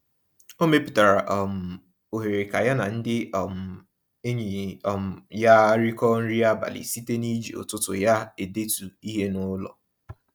O mepụtara um ohere ka ya na ndị um enyi um ya rịkọ nri abalị site n'iji ụtụtụ ya edetu ihe n'ụlọ.